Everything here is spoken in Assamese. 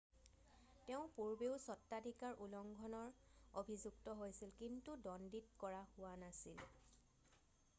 তেওঁ পূৰ্বেও স্বত্বাধিকাৰ উলংঘনৰ অভিযুক্ত হৈছিল কিন্তু দ্বন্দীত কৰা হোৱা নাছিল